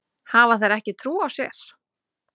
Hafa þær ekki trú á sér?